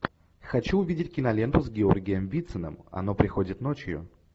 хочу увидеть киноленту с георгием вициным оно приходит ночью